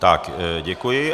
Tak, děkuji.